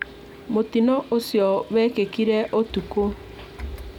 Mũtino ũcio wekĩkire ũtukũ